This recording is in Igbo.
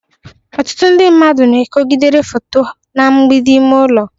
ọtụtụ ndị mmadụ na-ekogidere foto na mgbidi ime ụlọ